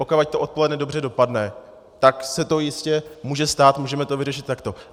Pokud to odpoledne dobře dopadne, tak se to jistě může stát, můžeme to vyřešit takto.